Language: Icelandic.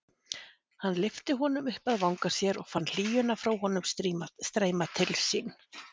Hann lyfti honum upp að vanga sér og fann hlýjuna frá honum streyma til sín.